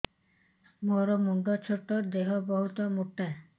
ମୋର ମୁଣ୍ଡ ଛୋଟ ଦେହ ବହୁତ ମୋଟା